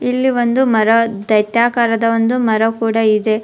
ಇಲ್ಲಿ ಒಂದು ಮರ ದೈತ್ಯಾಕಾರದ ಒಂದು ಮರ ಕೂಡ ಇದೆ.